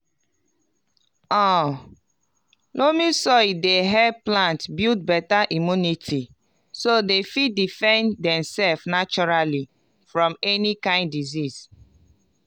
um loamy soil dey help plant build beta immunity so dem fit defend dem self naturally from any kain disease